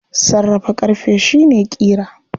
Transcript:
Sarrafa ƙarfe shi ne ƙira.